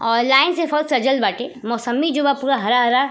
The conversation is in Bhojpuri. और लाइन से फल सजल बाटे। मौसम्मी जो बा पूरा हरा हरा --